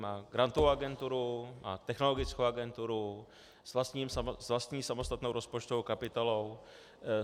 Má Grantovou agenturu, má Technologickou agenturu s vlastní samostatnou rozpočtovou kapitolou.